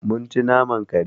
Mun ci naman kare.